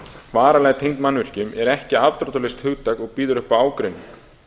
varanlega tengd mannvirkjum er ekki afdráttarlaust hugtak og býður upp á ágreining